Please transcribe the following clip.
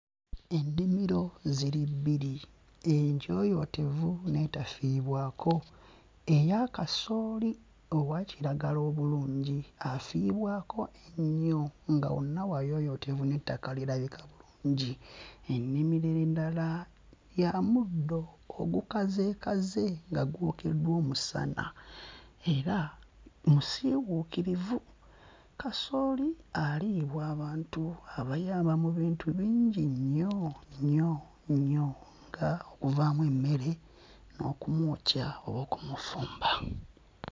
Ennimiro ziri bbiri, enjooyootevu n'etafiibwako. Eya kasooli owa kiragala obulungi afiibwako ennyo nga wonna wayooyoote n'ettaka lirabika bulungi. Ennimiro endala ya muddo ogukazeekaze nga gwokeddwa omusana era musiiwuukirivu. Kasooli aliibwa abantu abayaba mu bintu bingi nnyo nnyo nnyo nga okuvaamu emmere n'okumwokya okumufumba.